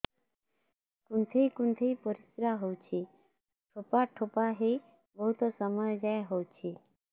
କୁନ୍ଥେଇ କୁନ୍ଥେଇ ପରିଶ୍ରା ହଉଛି ଠୋପା ଠୋପା ହେଇ ବହୁତ ସମୟ ଯାଏ ହଉଛି